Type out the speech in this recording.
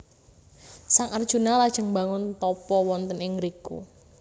Sang Arjuna lajeng mbangun tapa wonten ing ngriku